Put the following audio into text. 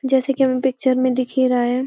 जैसे कि हमें पिक्चर में दिख ही रहा है।